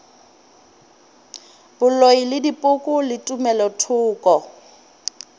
boloi le dipoko le tumelothoko